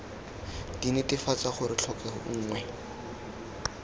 d netefatsa gore tlhokego nngwe